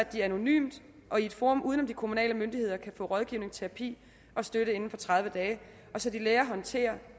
de anonymt og i et forum uden om de kommunale myndigheder kan få rådgivning terapi og støtte inden for tredive dage så de lærer at håndtere